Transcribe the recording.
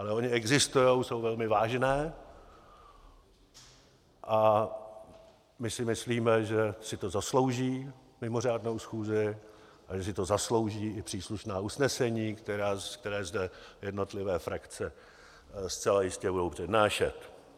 Ale ony existují, jsou velmi vážné a my si myslíme, že si to zaslouží mimořádnou schůzi a že si to zaslouží i příslušná usnesení, která zde jednotlivé frakce zcela jistě budou přednášet.